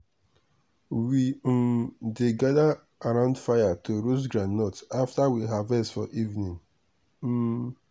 we um dey gather around fire to roast groundnut after we harvest for evening. um